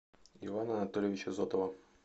ивана анатольевича зотова